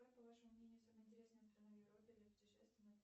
какая по вашему мнению самая интересная страна в европе для путешествий